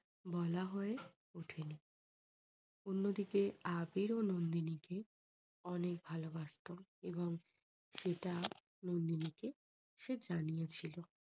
বলে হয়ে ওঠেনি। অন্যদিকে আবির ও নন্দিনীকে অনেক ভালোবাসতো এবং সেটা নন্দিনী কে সে জানিয়েছিল।